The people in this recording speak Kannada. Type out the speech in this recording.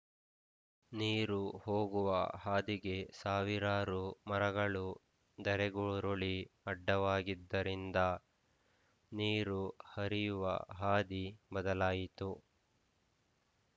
ನೀರು ಹೋಗುವ ಹಾದಿಗೆ ಸಾವಿರಾರು ಮರಗಳು ಧರೆಗುರುಳಿ ಅಡ್ಡವಾಗಿದ್ದರಿಂದ ನೀರು ಹರಿಯುವ ಹಾದಿ ಬದಲಾಯಿತು